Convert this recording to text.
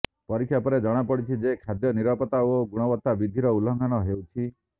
ପରୀକ୍ଷା ପରେ ଜଣାପଡ଼ିଛି ଯେ ଖାଦ୍ୟ ନିରାପତ୍ତା ଓ ଗୁଣବତ୍ତା ବିଧିର ଉଲଂଘନ ହେଉଛି